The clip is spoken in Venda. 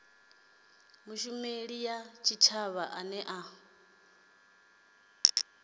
mushumeli wa tshitshavha ane a